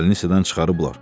Balnisadan çıxarıblar.